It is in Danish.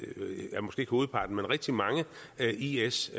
hovedparten men rigtig mange is